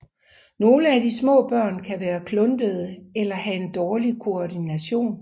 Nogle af de små børn kan være kluntede eller have en dårlig koordination